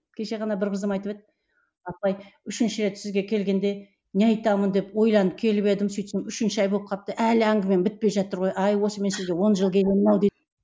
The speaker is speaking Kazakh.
кеше ғана бір қызым айтып еді апай үшінші рет сізге келгенде не айтамын деп ойланып келіп едім сөйтсем үшінші ай болып қалыпты әлі әңгімем бітпей жатыр ғой ай осы мен сізге он жыл келемін ау дейді